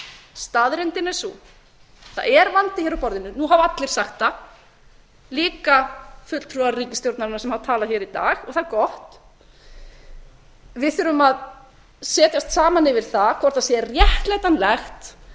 staðreyndin er sú að það er vandi hér á borðinu nú hafa allir sagt það líka fulltrúar ríkisstjórnarinnar sem hafa talað hér í dag það er gott við þurfum að setjast saman yfir það hvort sé réttlætanlegt